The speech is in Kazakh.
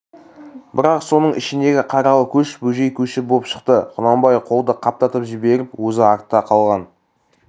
бірақ соның ішіндегі қаралы көш бөжей көші боп шықты құнанбай қолды қаптатып жіберіп өзі артта қалған